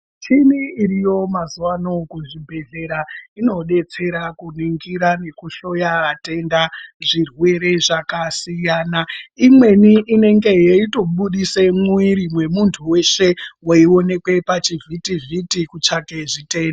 Michini iriyo mazuano kuzvibhedhlera inodetsera kuningira nekuhloya vatenda zvirwere zvakasiyana imweni inenge yeitobudise mwiiri wemuntu weshe weiwonekwe pachivhiti vhiti kutsvake zvitenda.